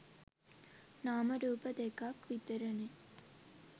නාම රූප දෙකක් විතරනේ.